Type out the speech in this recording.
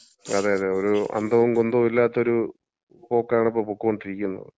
അതെ അതെ അതെ. ഒരു അന്തവും കുന്തവുമില്ലാത്ത ഒരു പോക്കാണ് ഇപ്പം പൊക്കോണ്ടിരിക്കുന്നത്.